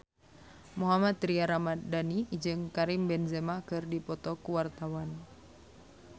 Mohammad Tria Ramadhani jeung Karim Benzema keur dipoto ku wartawan